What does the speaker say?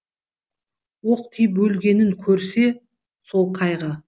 оқ тиіп өлгенін көрсе сол қайғы